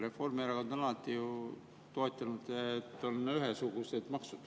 Reformierakond on ju alati toetanud seda, et on ühesugused maksud.